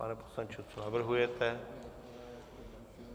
Pane poslanče, co navrhujete?